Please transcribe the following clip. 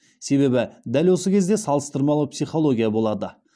себебі дәл осы кезде салыстырмалы психология болады